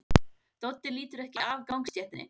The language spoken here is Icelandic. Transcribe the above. Doddi lítur ekki af gangstéttinni.